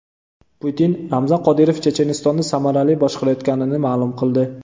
Putin Ramzan Qodirov Chechenistonni samarali boshqarayotganini ma’lum qildi .